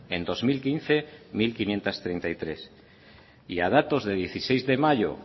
en bi mila hamabost mila bostehun eta hogeita hamairu y a datos de dieciséis de mayo